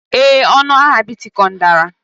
Ee, ọnụ ahịa Bitcoin dara.